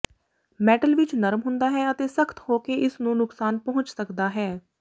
metal ਵਿਚ ਨਰਮ ਹੁੰਦਾ ਹੈ ਅਤੇ ਸਖ਼ਤ ਹੋ ਕੇ ਇਸ ਨੂੰ ਨੁਕਸਾਨ ਪਹੁੰਚ ਸਕਦਾ ਹੈ